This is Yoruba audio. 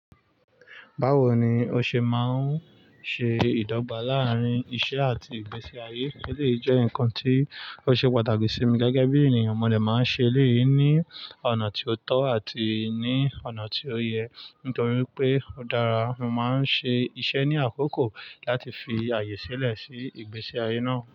Báwo ni ó ṣe máa ń ṣe ìdọ́gba láàárín iṣẹ́ àti ìgbésí ayé? Eleyii jẹ́ nǹkan tí ó ṣe pàtàkì sí mi gẹ́gẹ́ bí ènìyàn mọ̀lẹ́ máa ń ṣe eléyí ní ọ̀nà tí ó tọ́ àti ní ọ̀nà tí ó yẹ. Nítorí pé ó dára, mo máa ń ṣe iṣẹ́ ní àkókò láti fi ààyè sílẹ̀ sí ìgbésí ayé náà.